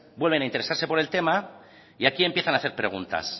vuelven a interesarse por el tema y aquí empiezan a hacer preguntas